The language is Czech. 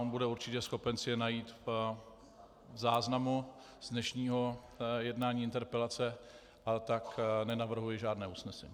On bude určitě schopen si je najít v záznamu z dnešního jednání interpelace, a tak nenavrhuji žádné usnesení.